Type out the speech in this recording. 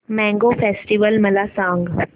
mango festival मला सांग